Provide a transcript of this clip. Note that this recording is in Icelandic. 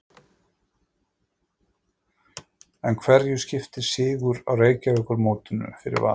En hverju skiptir sigur í Reykjavíkurmótinu fyrir Val?